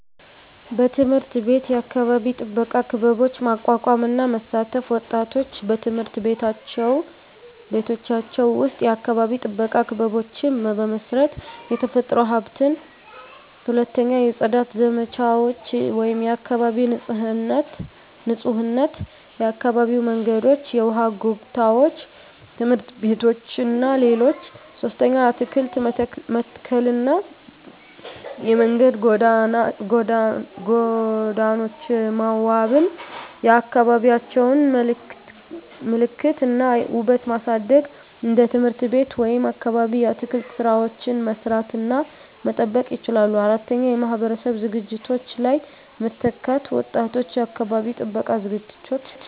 1. በትምህርት ቤት የአካባቢ ጥበቃ ክበቦች ማቋቋም እና መሳተፍ ወጣቶች በትምህርት ቤቶቻቸው ውስጥ የአካባቢ ጥበቃ ክበቦችን በመመስረት፣ የተፈጥሮ ሀብትን። 2. የጽዳት ዘመቻዎች (የአካባቢ ንፁህነት) የአካባቢ መንገዶች፣ የውሃ ጎታዎች፣ ትምህርት ቤቶች እና ሌሎች 3. አትክልት መተከልና የመንገድ ጎኖች መዋበን የአካባቢዎቻቸውን ምልክት እና ውበት ለማሳደግ እንደ ትምህርት ቤት ወይም አካባቢ የአትክልት ሥራዎችን መስራት እና መጠበቅ ይችላሉ። 4. የማህበረሰብ ዝግጅቶች ላይ መተካት ወጣቶች የአካባቢ ጥበቃ ዝግጅቶች